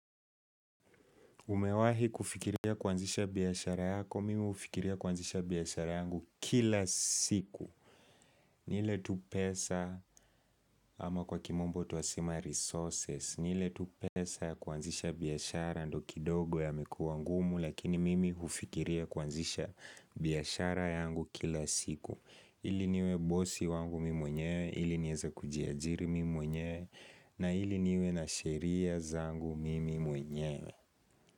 Umewahi kufikiria kuanzisha biashara yako, mimi hufikiria kuanzisha biashara yangu kila siku ni ile tu pesa ama kwa kimombo tunasema resources, ni ile tu pesa ya kuanzisha biashara ndiyo kidogo yamekuwa ngumu. Lakini mimi hufikiria kuanzisha biashara yangu kila siku ili niwe bosi wangu mimi mwenyewe, ili niweze kujiajiri mimi mwenyewe, na ili niwe na sheria zangu mimi mwenyewe.